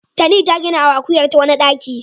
Tani ta ginawa akuyarta wani ɗaki.